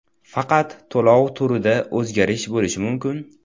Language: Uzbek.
Faqat to‘lov turida o‘zgarish bo‘lishi mumkin.